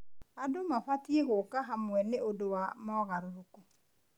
Andũ mabatiĩ gũũka hamwe nĩ ũndũ wa mogarũrũku.